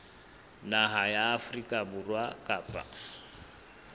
naha ya afrika borwa kapa